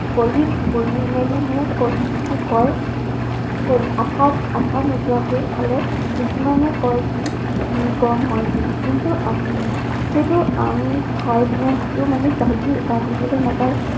কলি, কলি মেলি মানে কলি যিটো কয়। কলি আঠা, আঠা নোযোৱাকে খালে কিছুমানে কয় কি উম হয় বুলি। কিন্তু আমি উম সেইটো আম খাই পিনে যিটো মানে বাহিবলে নাপায়